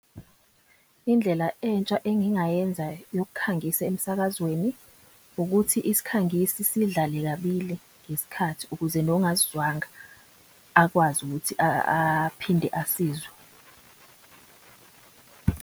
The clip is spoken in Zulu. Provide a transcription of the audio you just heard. Indlela entsha engingayenza yokukhangisa emsakazweni ukuthi isikhangisi sidlale kabili ngesikhathi ukuze nongasizwanga akwazi ukuthi aphinde asizwe.